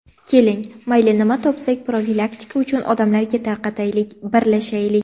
Keling mayli nima topsak profilaktika uchun odamlarga tarqataylik, birlashaylik.